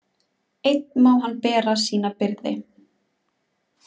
Einn má hann bera sína byrði.